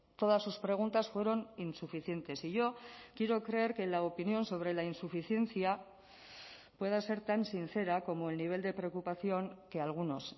todas sus preguntas fueron insuficientes y yo quiero creer que la opinión sobre la insuficiencia pueda ser tan sincera como el nivel de preocupación que algunos